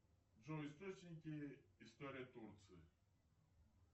джой источники истории турции